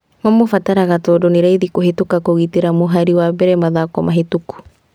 Mamũbataraga tondũ nĩraithi kũhetũka kũgitĩra mũhari wa mbere mathako mahetũku